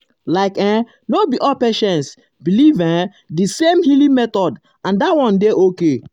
like[um]no be all patients believe[um]di same healing method and that one dey okay.